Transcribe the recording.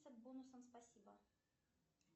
бонусам спасибо